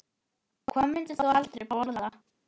Hvað myndir þú aldrei borða?